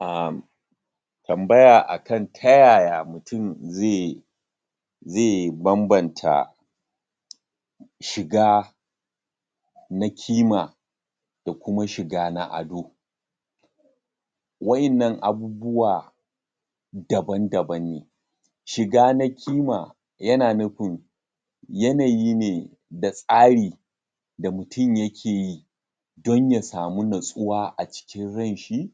um Tambaya a kan ta yaya mutum ze ze bambanta shiga na kima, da kuma shiga na ado. Wa'innan abubuwa daban-daban ne. Shiga na kima yana nufin yanayi ne, da tsari da mutum yake yi don ya samu nutsuwa a cikin ran shi,